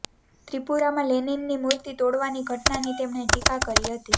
ત્રિપુરામાં લેનીનની મુર્તિ તોડવાની ઘટનાની તેમણે ટીકા કરી હતી